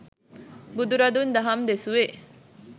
බුදුරදුන් දහම් දෙසුවේ